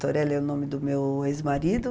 Torelli é o nome do meu ex-marido.